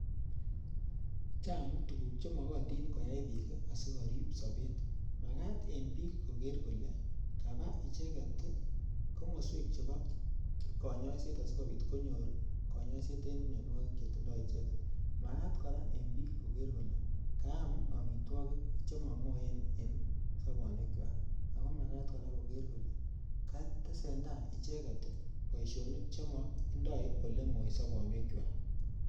chaang tuguk chemagatin kwaii tuguuk sikopit korip sapeet ako magaaaat koaam piik amitwagiik chekararreen nea